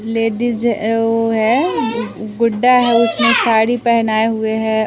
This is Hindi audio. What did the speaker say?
लेडीज अ वो हैं गु गुड्डा है उसमें साड़ी पहनाए हुए हैं।